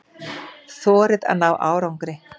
Þorið að ná árangri.